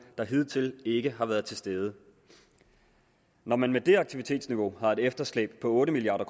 der hidtil ikke har været til stede når man med det aktivitetsniveau har et efterslæb på otte milliard